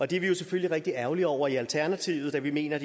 det er vi jo selvfølgelig rigtig ærgerlige over i alternativet da vi mener at